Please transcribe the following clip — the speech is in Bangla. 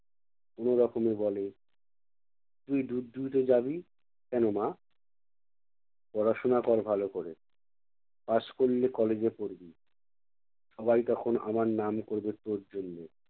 কোনো রকমে বলে তুই দুধ দুইতে যাবি কেনো মা? পড়াশোনা কর ভালো করে। pass করলে college এ পড়বি। সবাই তখন আমার নাম করবে তোর জন্য।